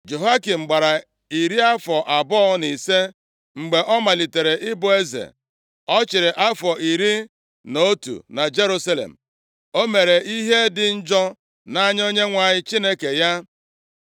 Jehoiakim gbara iri afọ abụọ na ise mgbe ọ malitere ịbụ eze. Ọ chịrị afọ iri na otu na Jerusalem. O mere ihe dị njọ nʼanya Onyenwe anyị Chineke ya.